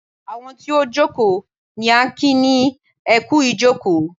Àwọn tí ó jókòó ní à ń kí ni ẹ kú ìjókòó.